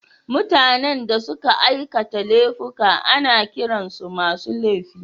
Mutanen da suka aikata laifuka ana kiran su masu laifi